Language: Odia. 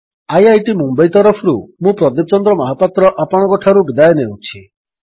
ଆଇଆଇଟି ମୁମ୍ୱଇ ତରଫରୁ ମୁଁ ପ୍ରଦୀପ ଚନ୍ଦ୍ର ମହାପାତ୍ର ଆପଣଙ୍କଠାରୁ ବିଦାୟ ନେଉଛି